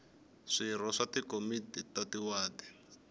swirho swa tikomiti ta tiwadi